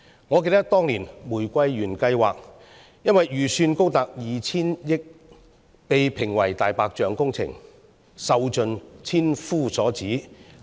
我記得，當年的"玫瑰園計劃"由於預算高達 2,000 億元，被抨擊為"大白象"工程，受盡千夫所指。